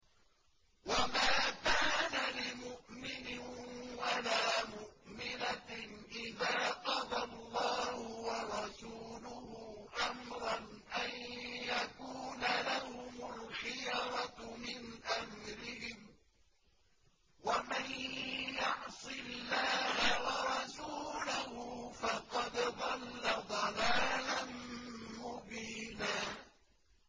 وَمَا كَانَ لِمُؤْمِنٍ وَلَا مُؤْمِنَةٍ إِذَا قَضَى اللَّهُ وَرَسُولُهُ أَمْرًا أَن يَكُونَ لَهُمُ الْخِيَرَةُ مِنْ أَمْرِهِمْ ۗ وَمَن يَعْصِ اللَّهَ وَرَسُولَهُ فَقَدْ ضَلَّ ضَلَالًا مُّبِينًا